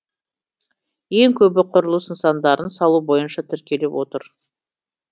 ең көбі құрылыс нысандарын салу бойынша тіркеліп отыр